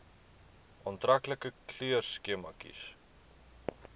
aantreklike kleurskema kies